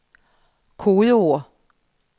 kodeord